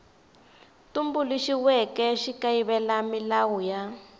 tumbuluxiweke xi kayivela milawu ya